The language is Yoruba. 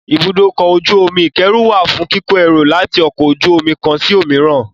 Ibùdókọ̀-ojú omi ìkẹ́rù wà fún kíko ẹrù láti ọkọ̀-ojú-omi kán sí òmíràn.